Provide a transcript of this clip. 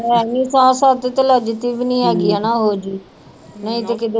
ਹੈ ਨੀ ਸਾਹ ਸੱਤ ਤੇ ਲੱਗਦੀ ਵੀ ਨੀ ਹੈਗੀ ਹਨਾ ਉਹ ਜਿਹੀ ਨਹੀਂ ਤੇ ਕਿਤੇ